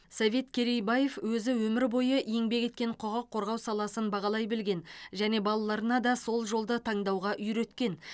совет керейбаев өзі өмір бойы еңбек еткен құқық қорғау саласын бағалай білген және балаларына да сол жолды таңдауға үйреткен